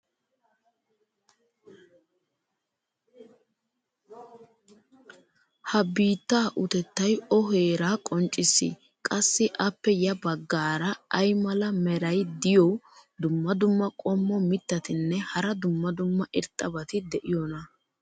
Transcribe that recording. ha biittaa utettay o heeraa qonccissii? qassi appe ya bagaara ay mala meray diyo dumma dumma qommo mitattinne hara dumma dumma irxxabati de'iyoonaa?